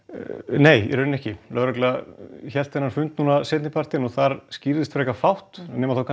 nei lögregla hélt blaðamannafund núna seinni partinn og það skýrðist frekar fátt